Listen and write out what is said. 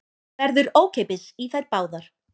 Verður ókeypis í þær báðar